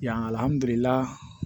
Yandula